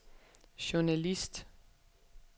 journalist